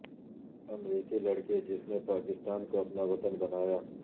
امریکی لڑکی جس نے پاکستان کو اپنا وطن بنایا